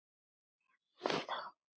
Hvað átt þú af börnum?